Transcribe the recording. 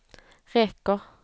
räcker